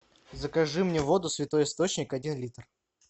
закажи мне воду святой источник один литр